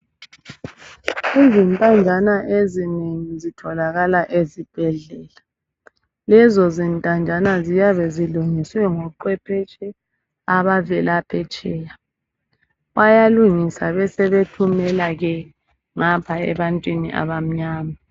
Izintanjana ezinengi zitholakala ezibhedlela, lezo zintanjana ziyabe zilungiswe ngoqwephetshe abavela phetsheya. Bayalungisa besebethumela ke ngapha ebantwini abamnyama.